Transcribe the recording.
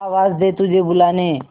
आवाज दे तुझे बुलाने